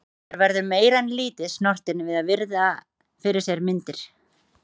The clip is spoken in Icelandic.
Maður verður meira en lítið snortinn við að virða fyrir sér myndir.